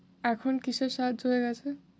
এখন কীসের সাহায্য হয়ে গেছে?